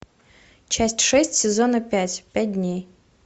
часть шесть сезона пять пять дней